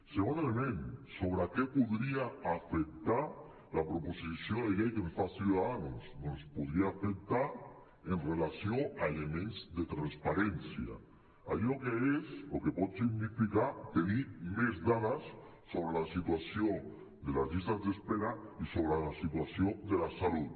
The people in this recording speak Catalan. segon element sobre què podria afectar la proposició de llei que ens fa ciudadanos doncs podria afectar amb relació a elements de transparència allò que és o que pot significar tenir més dades sobre la situació de les llistes d’espera i sobre la situació de la salut